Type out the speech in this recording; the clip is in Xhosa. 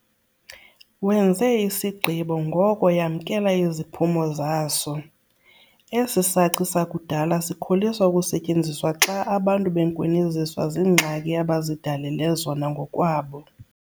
Wenze isigqibo ngoku yamkela iziphumo zaso - esi saci sakudala sikholisa ukusetyenziswa xa abantu benkwiniziswa ziingxaki abazidalele zona ngokwabo.